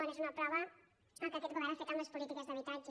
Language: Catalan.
n’és una prova el que aquest govern ha fet amb les polítiques d’habitatge